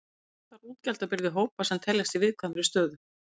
Mest var útgjaldabyrði hópa sem teljast í viðkvæmri stöðu.